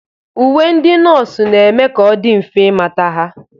Uwe ndị nọọsụ na-eme ka ọ dị mfe ịmata ha.